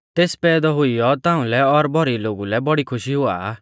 तेस पैदौ हुइयौ ताऊं लै और भौरी लोगु लै बौड़ी खुशी हुआ आ